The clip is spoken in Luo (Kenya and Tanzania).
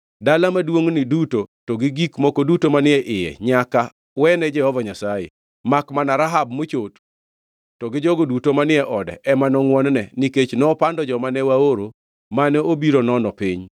Dala maduongʼni duto, to gi gik moko duto manie iye nyaka wene Jehova Nyasaye. Makmana Rahab, mochot, to gi jogo duto manie ode ema nongʼwon-ne, nikech nopando joma ne waoro mane obiro nono piny.